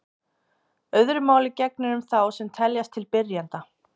Öðru máli gegnir um þá sem teljast til byrjenda.